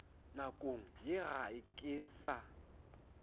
nakong ye ga ke sa